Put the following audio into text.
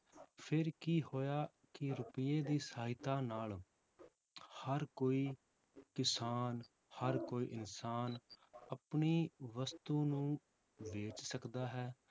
ਫਿਰ ਕੀ ਹੋਇਆ ਕਿ ਰੁਪਈਏ ਦੀ ਸਹਾਇਤਾ ਨਾਲ ਹਰ ਕੋਈ ਕਿਸਾਨ ਹਰ ਕੋਈ ਇਨਸਾਨ ਆਪਣੀ ਵਸਤੂ ਨੂੰ ਵੇਚ ਸਕਦਾ ਹੈ